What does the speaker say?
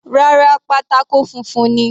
Rárá, pátákó funfun ni.